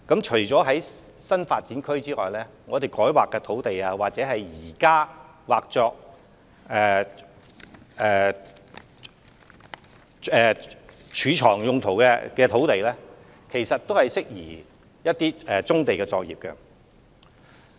除新發展區外，改劃土地或現時劃作貯物用途的土地亦適宜作棕地作業用途。